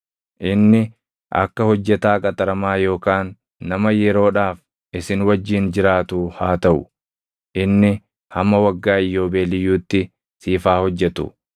Inni akka hojjetaa qaxaramaa yookaan nama yeroodhaaf isin wajjin jiraatuu haa taʼu; inni hamma Waggaa Iyyoobeeliyyuutti siif haa hojjetu.